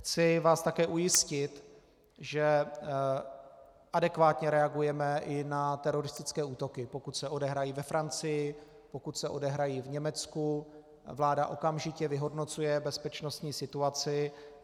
Chci vás také ujistit, že adekvátně reagujeme i na teroristické útoky, pokud se odehrají ve Francii, pokud se odehrají v Německu, vláda okamžitě vyhodnocuje bezpečnostní situaci.